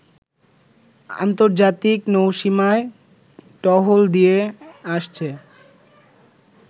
আন্তর্জাতিক নৌসীমায় টহল দিয়ে আসছে